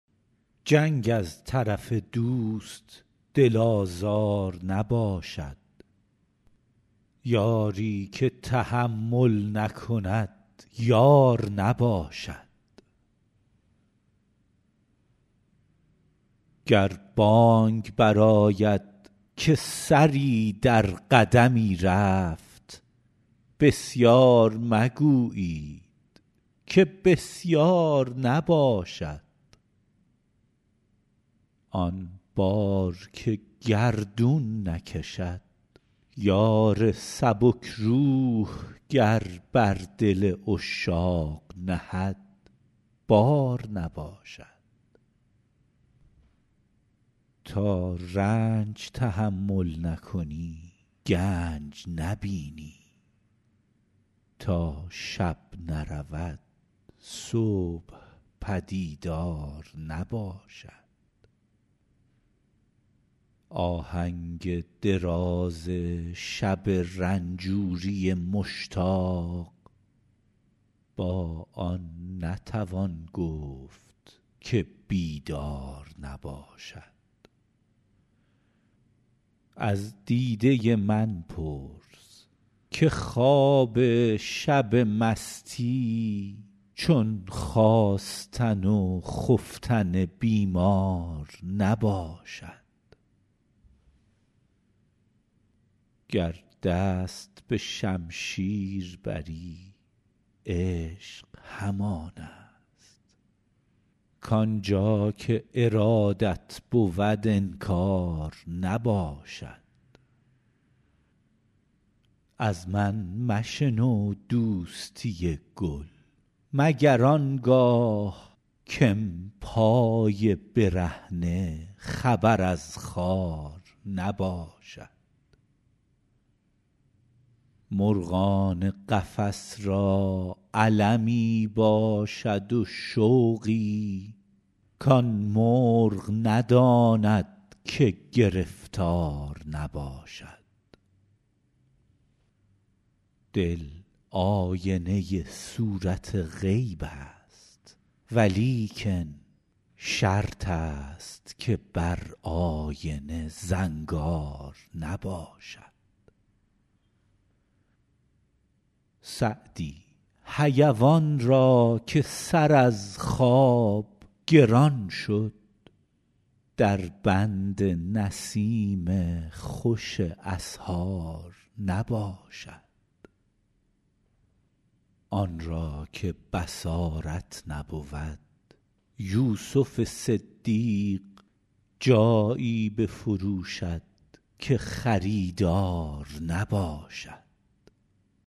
جنگ از طرف دوست دل آزار نباشد یاری که تحمل نکند یار نباشد گر بانگ برآید که سری در قدمی رفت بسیار مگویید که بسیار نباشد آن بار که گردون نکشد یار سبک روح گر بر دل عشاق نهد بار نباشد تا رنج تحمل نکنی گنج نبینی تا شب نرود صبح پدیدار نباشد آهنگ دراز شب رنجوری مشتاق با آن نتوان گفت که بیدار نباشد از دیده من پرس که خواب شب مستی چون خاستن و خفتن بیمار نباشد گر دست به شمشیر بری عشق همان است کآن جا که ارادت بود انکار نباشد از من مشنو دوستی گل مگر آن گاه که ام پای برهنه خبر از خار نباشد مرغان قفس را المی باشد و شوقی کآن مرغ نداند که گرفتار نباشد دل آینه صورت غیب است ولیکن شرط است که بر آینه زنگار نباشد سعدی حیوان را که سر از خواب گران شد در بند نسیم خوش اسحار نباشد آن را که بصارت نبود یوسف صدیق جایی بفروشد که خریدار نباشد